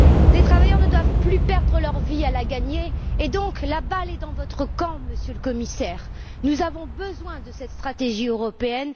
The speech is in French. Les travailleurs ne doivent plus perdre leur vie à la gagner. La balle est donc dans votre camp, Monsieur le Commissaire. Nous avons besoin de cette stratégie européenne.